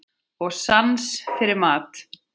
Og sans fyrir mat.